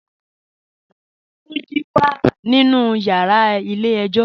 Tunji wà nínu yàrà ilẹ̀ èjò.